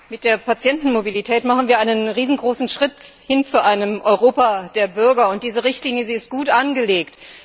Mit der Patientenmobilität machen wir einen riesengroßen Schritt hin zu einem Europa der Bürger. Diese Richtlinie ist gut angelegt.